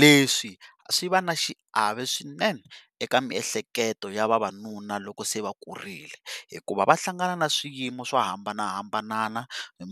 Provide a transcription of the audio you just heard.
leswi swi va na xiave swinene eka miehleketo ya vavanuna loko se va kurile hikuva va hlangana ni swiyimo swo hambanahambana